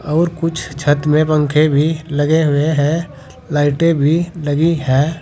और कुछ छत में पंखे भी लगे हुए हैं लाइटें भी लगी है।